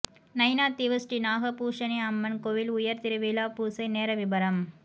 நயினாதீவு ஸ்ரீ நாகபூஷணி அம்மன் கோவில் உயர் திருவிழா பூசை நேர விபரம்